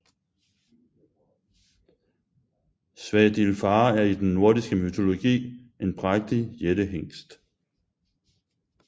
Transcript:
Svadilfare er i den nordiske mytologi en prægtig jættehingst